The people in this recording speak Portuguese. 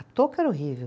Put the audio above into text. A touca era horrível.